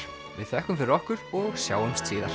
við þökkum fyrir okkur og sjáumst síðar